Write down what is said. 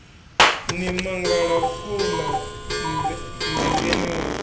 ni mangala khouḽa mmbengeni wa